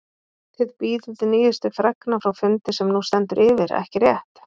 Þið bíðið nýjustu fregna frá fundi sem nú stendur yfir, ekki rétt?